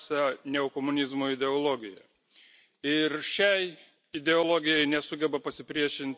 ir šiai ideologijai nesugeba pasipriešinti visa Europos Sąjungos politinė sistema.